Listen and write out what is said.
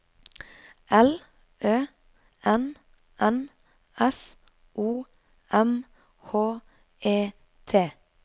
L Ø N N S O M H E T